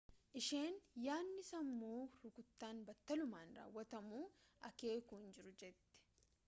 isheen yaadni sammuu rukuttaan battalumaan raawwatamuu akeeku hin jiru jette.